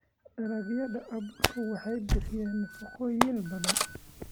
Dalagyada abuurka waxay bixiyaan nafaqooyin badan.